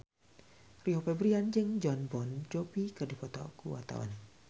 Rio Febrian jeung Jon Bon Jovi keur dipoto ku wartawan